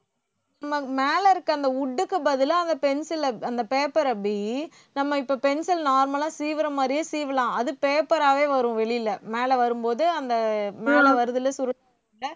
நம்ம மேல இருக்கிற அந்த wood க்கு பதிலா அவங்க pencil ல அந்த paper அ அபி நம்ம இப்ப pencil normal லா சீவுற மாதிரியே சீவலாம் அது paper ஆவே வரும் வெளியில மேல வரும்போது அந்த மேல வருதுல்ல சுருள்